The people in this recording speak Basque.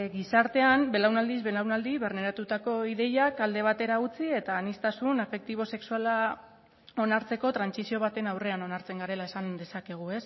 gizartean belaunaldiz belaunaldi barneratutako ideiak alde batera utzi eta aniztasun afektibo sexuala onartzeko trantsizio baten aurrean onartzen garela esan dezakegu